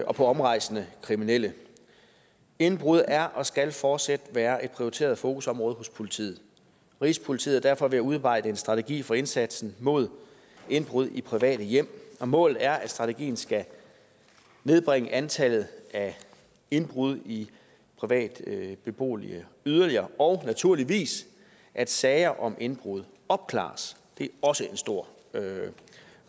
og på omrejsende kriminelle indbrud er og skal fortsat være et prioriteret fokusområde hos politiet rigspolitiet er derfor ved at udarbejde en strategi for indsatsen mod indbrud i private hjem og målet er at strategien skal nedbringe antallet af indbrud i private boliger yderligere og naturligvis at sager om indbrud opklares det er også en stor